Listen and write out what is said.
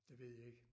Det ved jeg ikke